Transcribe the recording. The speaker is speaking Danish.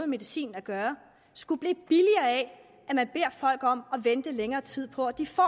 medicin at gøre skulle blive billigere af at om at vente længere tid på at de får